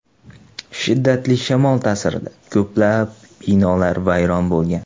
Shiddatli shamol ta’sirida ko‘plab binolar vayron bo‘lgan.